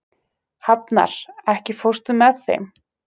Hafnar, ekki fórstu með þeim?